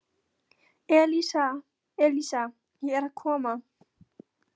Elísa, Elísa, ég er að koma